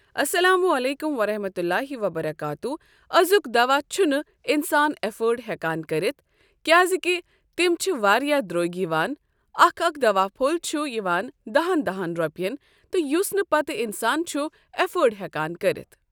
اسلام عليكم ورحمة الله وبركاته آزُک دوا چھُنہٕ انسان ایفٲڑ ہٮ۪کان کٔرِتھ کیٛازِ کہِ تِم چھِ واریاہ دٔرٛگۍ یِوان اکھ اکھ دوا پھوٚل چھُ یوان دہن دہن رۄپٮ۪ن تہٕ یُس نہٕ پتہٕ انسان چھُ ایفٲڑ ہٮ۪کان کٔرتھ ۔